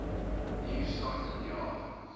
new scotland yard